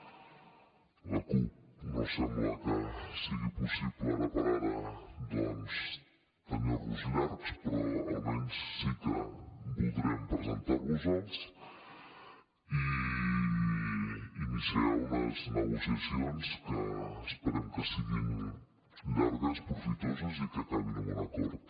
amb la cup no sembla que sigui possible ara per ara tenir los llargs però almenys sí que voldrem presentar vos els i iniciar unes negociacions que esperem que siguin llargues profitoses i que acabin amb un acord